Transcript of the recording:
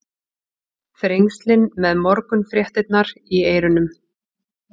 Þrengslin með morgunfréttirnar í eyrunum.